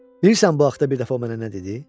Bilirsən bu haqda bir dəfə o mənə nə dedi?